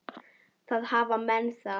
Þá hafa menn það.